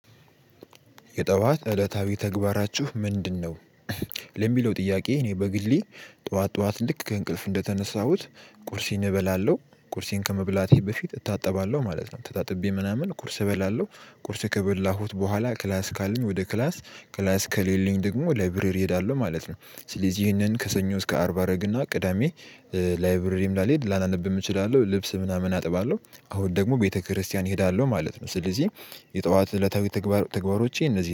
የጠዋት እለታዊ ተግባራችሁ ምንድነው? ለሚለው ጥያቄ እኔ በግሌ ጠዋት ጠዋት ልክ ከእንቅልፍ እንደተነሳሁት ቁርሴን እበላለሁ ቁርሴን ከመብላቴ በፊት እታጠባለሁ ማለት ነው ተጣጥቤ ምናምን ቁርስ እበላለሁ ቁርስ ከበላሁት በኋላ ክላስ ካለኝ ወደ ክላስ ክላስ ከሌለኝ ደግሞ ላይብረሪ እሄዳለሁ ማለት ነው። ስለዚህ ይሄንን ከሰኞ እስከ አርባ አደረግና ቅዳሜ ላይብረሪም ላልሄድ ላላነብም እችላለሁ። ልብስ ምናምን አጥባለሁ አሁን ደግሞ ቤተክርስቲያን እሄዳለሁ ማለት ነው። ስለዚህ የጠዋት እለታዊ ተግባሮቼ እነዚህ